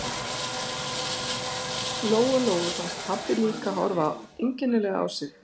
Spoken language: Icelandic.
Lóu Lóu fannst pabbi líka horfa einkennilega á sig.